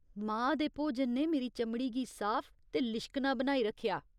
मां दे भोजन ने मेरी चमड़ी गी साफ ते लिश्कना बनाई रक्खेआ।